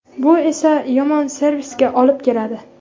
Bu esa yomon servisga olib keladi.